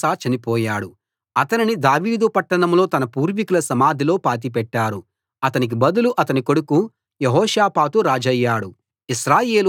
అప్పుడు ఆసా చనిపోయాడు అతనిని దావీదు పట్టణంలో తన పూర్వీకుల సమాధిలో పాతిపెట్టారు అతనికి బదులు అతని కొడుకు యెహోషాపాతు రాజయ్యాడు